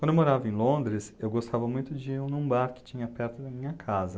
Quando eu morava em Londres, eu gostava muito de ir num bar que tinha perto da minha casa.